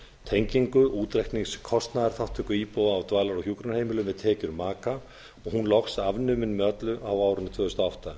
tengingu útreiknings kostnaðarþátttöku íbúa á dvalar og hjúkrunarheimilum við tekjur maka og hún loks afnumin með öllu árið tvö þúsund og átta